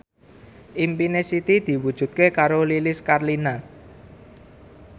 impine Siti diwujudke karo Lilis Karlina